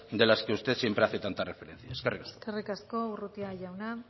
de las que usted siempre hace tanta referencia eskerrik asko eskerrik asko urrutia jauna